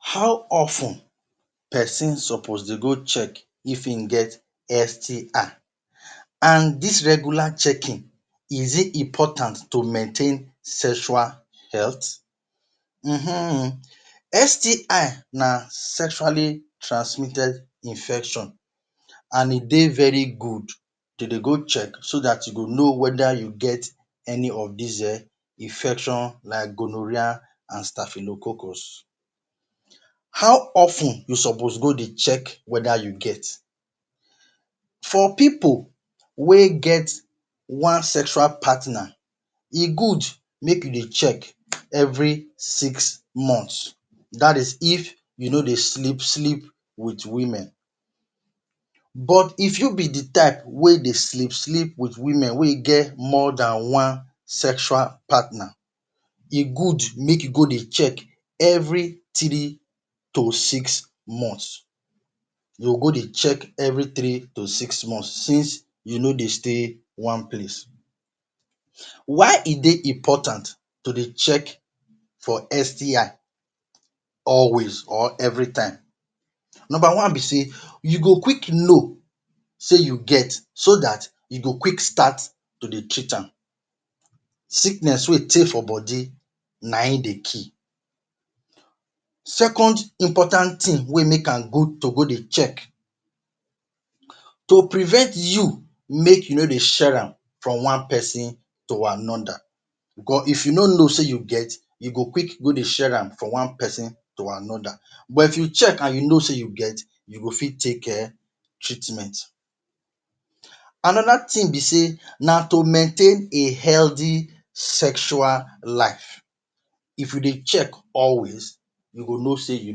How of ten person suppose dey go check if him get STI? And this regular checking is it important to maintain health um STI na sexually transmitted infection and e dey very good to dey go check so dat you go know whether you get any of this infection like gonorrhea…………………………? you suppose go dey check whether ypu get, for pipul wey get one sexual partner e good make you dey check every six month dat is if you no dey sleep-sleep with women but if you be the type dey sleep with women wey get more than one sexual partner, e good make you go dey check every three to six month, you go go dey check every three to six month since you no they stay one place. Why is it important to dey check for STI always or every time? Number one be sey you go quick know sey you get so dat you go quick start to dey treat am sickness wey tey for body na in dey kill Second important thing wey make am good to go dey check, to prevent you make you no dey share am from one person to another because if you no know say you get, you go fit go dey share am from one person to another but if you check and know say you get, you go fit take treatment. Another thing be sey na to maintain a healthy sexual life. If you dey check always you go know sey you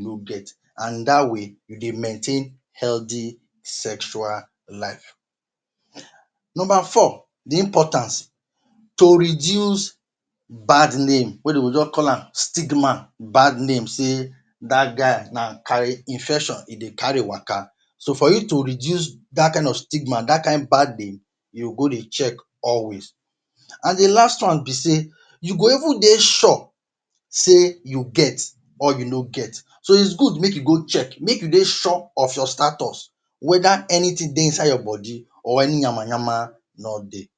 no get and that way, you dey maintain a healthy sexual life, Number four to reduce bad name wey they go just call am stigma bad names sey that man na infection e dey carry worker so for you to reduce that kind of stigma that kind bad name, you go go day check always. And the last one be sey you go even dey sure sey you get or you no get, so e good make you go check make you dey sure of your status whether anything dey inside your body or any yama-yama no dey.